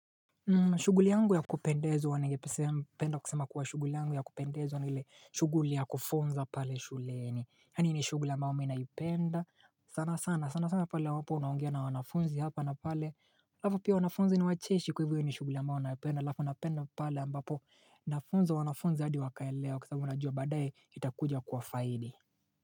Shuguli yangu ya kupendezwa ngependa kusema kuwa shuguli yangu ya kupendezo na hile shuguli ya kufunza pale shuleni, hani ni shuguli ya mbao mina yupenda sana sana sana sana sana pale wapo unaungia na wanafunzi hapa na pale Lafo pia wanafunzi ni wacheshi kwa hivyo ni shuguli ya mbao unaupenda lafo unapenda pale ambapo nafunza wanafunzi hadi wakaelewa kisababu najwa badaye itakuja kwa faidi.